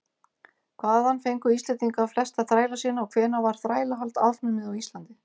hvaðan fengu íslendingar flesta þræla sína og hvenær var þrælahald afnumið á íslandi